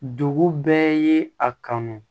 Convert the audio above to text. Dugu bɛɛ ye a kanu